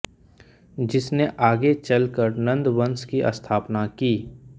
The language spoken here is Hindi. जिसने आगे चल कर नन्द वंश की स्थापना की